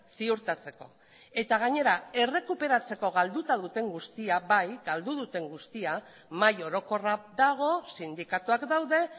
ziurtatzeko eta gainera errekuperatzeko galduta duten guztia bai galdu duten guztia mahai orokorra dago sindikatuak daude